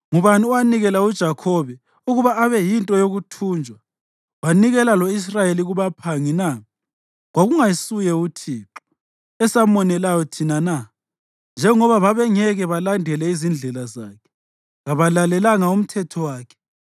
Ngubani owanikela uJakhobe ukuba abe yinto yokuthunjwa wanikela lo-Israyeli kubaphangi na? Kwakungasuye uThixo, esamonelayo thina na? Njengoba babengeke balandele izindlela zakhe; kabalalelanga umthetho wakhe.